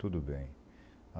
Tudo bem.